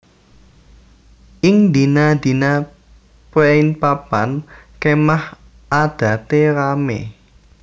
Ing dina dina préén papan kémah adate ramé